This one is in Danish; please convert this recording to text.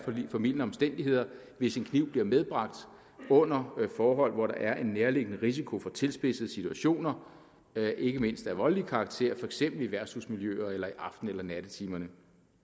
formildende omstændigheder hvis en kniv bliver medbragt under forhold hvor der er en nærliggende risiko for tilspidsede situationer ikke mindst af voldelig karakter for eksempel i værtshusmiljøer eller i aften eller nattetimerne